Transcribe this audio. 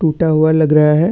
टुटा हुआ लग रहा है।